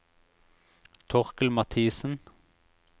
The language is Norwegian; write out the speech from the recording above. Torkel Mathiesen